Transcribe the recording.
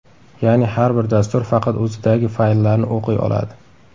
Ya’ni har bir dastur faqat o‘zidagi fayllarni o‘qiy oladi.